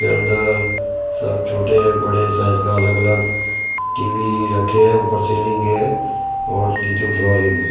के अंदर सब छोटे बड़े साइज का अलग-अलग टी_वी रखे हैं ऊपर सीलिंग है और नीचे फ्लोरिंग है।